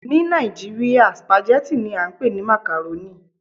Ni Nigeria, spaghetti ni a npe ni macaroni